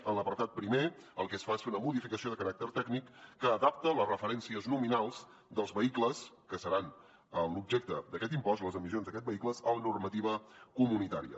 en l’apartat primer el que es fa és fer una modificació de caràcter tècnic que adapta les referències nominals dels vehicles que seran l’objecte d’aquest impost les emissions d’aquests vehicles a la normativa comunitària